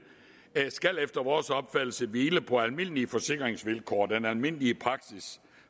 efter vores opfattelse skal hvile på almindelige forsikringsvilkår den almindelige praksis